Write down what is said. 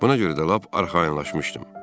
Buna görə də lap arxayınlaşmışdım.